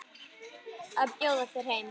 Að bjóða þér heim.